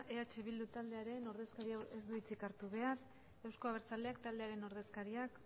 eh bildu taldearen ordezkaria ez du hitzik hartu behar euzko abertzaleak taldearen ordezkariak